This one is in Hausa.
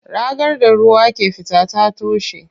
Ragar da ruwa ke fita ta toshe.